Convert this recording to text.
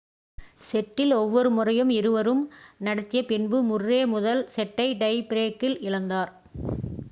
settle ஒவ்வொரு முறையும் இருவரும் நடத்திய பின்பு முர்ரே முதல் செட்டை டை பிரேக்கில் இழந்தார்